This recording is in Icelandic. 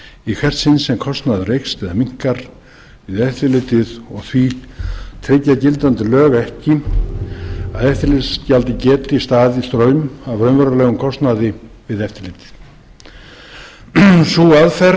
í hvert sinn sem kostnaður eykst eða minnkar við eftirlitið og því tryggja gildandi lög ekki að eftirlitsgjaldið geti staðið straum af raunverulegum kostnaði við eftirlitið sú aðferð